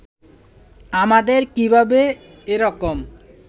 আমাদের কীভাবে এ রকম